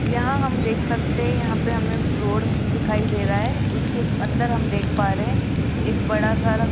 यहां हम देख सकते हैं यहां पे हमे रोड दिखाई दे रहा है उसके अंदर हम देख पा रहे हैं एक बड़ा सारा --